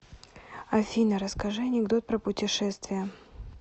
афина расскажи анекдот про путешествия